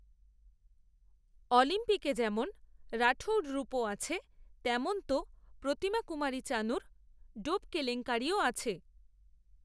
অলিম্পিকে যেমন রাঠৌড়রুপো আছে, তেমন তো প্রতিমাকুমারী চানুর, ডোপ কেলেঙ্কারিও আছে